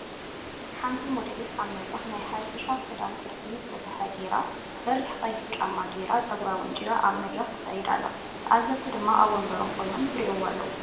ሓንቲ ሞዴሊስት ኣብ መድረክ ናይ ሓበሻ ክዳን ጥልፊ ዝተሰርሐ ጌራ በሪክ ቀይሕ ጫማ ጌራ ፀጉራ ወንጪራ ኣብ መድረክ ትከድ ኣላ ተዓዘብቲ ድማ ኣብ ወንበሮም ኮይኖም ይርእይዋ ኣለዉ።